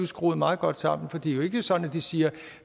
skruet meget godt sammen for det er jo ikke sådan at de siger